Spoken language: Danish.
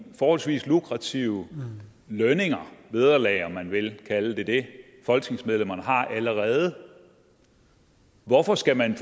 forholdsvis lukrative lønninger vederlag om man vil kalde det det folketingsmedlemmerne allerede har hvorfor skal man